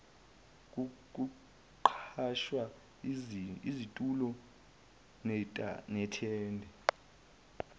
kuqhashwa izitulo nethende